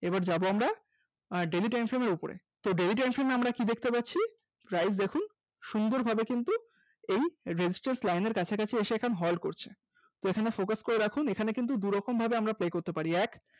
এবার যাব আমরা আহ daily time flame এর উপরে, তো daily time flame আমরা কি দেখতে পাচ্ছি price গেছে সুন্দরভাবে কিন্তু এই resistance line এর কাছাকাছি এসে এখন halt করছে এখানে focus করে রাখুন। এখানে কিন্তু দু'রকম ভাবে আমরা play করতে পারি। এক